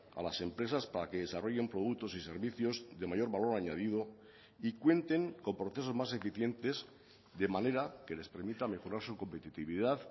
a las empresas para que desarrollen productos y servicios de mayor valor añadido y cuenten con procesos más eficientes de manera que les permita mejorar su competitividad